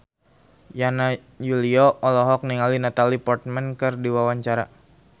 Yana Julio olohok ningali Natalie Portman keur diwawancara